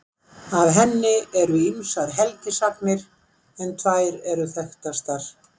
Af henni eru ýmsar helgisagnir en tvær eru þekktastar.